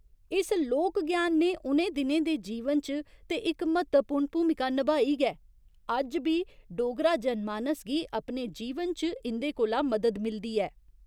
इस लोक ज्ञान ने उ'नें दिनें दे जीवन च ते इक म्हत्तवपूर्ण भूमिका नभाई गै, अज्ज बी डोगरा जनमानस गी अपने जीवन च इं'दे कोला मदद मिलदी ऐ।